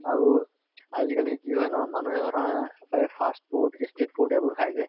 আৰুআজি কালি কি হয় ন মানুহে ধৰা এই fast food street food এইবোৰ খায় যে